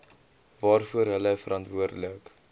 waarvoor hulle verantwoordelik